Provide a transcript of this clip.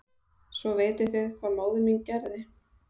Svo vitið þið hvað móðir mín gerði?